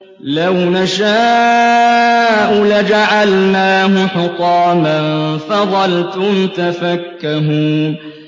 لَوْ نَشَاءُ لَجَعَلْنَاهُ حُطَامًا فَظَلْتُمْ تَفَكَّهُونَ